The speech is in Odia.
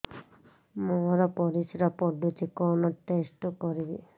ମୋର ପରିସ୍ରା ପୋଡୁଛି କଣ ଟେଷ୍ଟ କରିବି